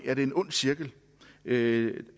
med